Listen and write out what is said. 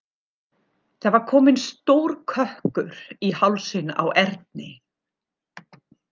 Það var kominn stór kökkur í hálsinn á Erni.